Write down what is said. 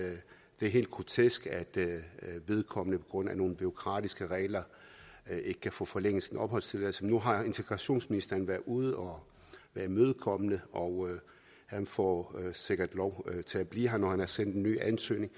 er helt grotesk at vedkommende på grund af nogle bureaukratiske regler ikke kan få forlænget sin opholdstilladelse nu har integrationsministeren været ude og været imødekommende og han får sikkert lov til at blive her når han har sendt en ny ansøgning